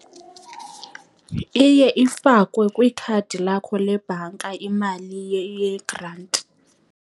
Iye ifakwe kwikhadi lakho lebhanka imali yegranti.